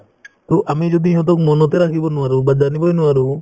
to আমি যদি সিহঁতক মনতে ৰাখিব নোৱাৰো বা জানিবয়ে নোৱাৰো